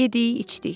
Yedik, içdik.